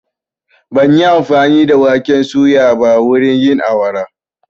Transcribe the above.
Ban yi amfani da duka waken suyan ba wurin yin awara.